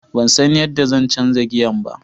Ban san yadda zan canza giyan ba.